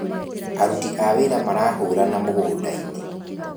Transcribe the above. Aruti a wĩra marahũrana mũgũnda-inĩ